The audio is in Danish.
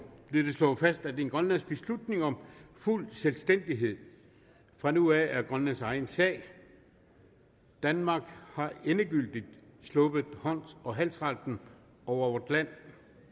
blev det slået fast at grønlands beslutning om fuld selvstændighed fra nu af er grønlands egen sag danmark har endegyldigt sluppet hånd og halsretten over vort land